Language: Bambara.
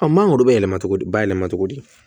mangoro bɛ yɛlɛma cogo di ba yɛlɛma cogo di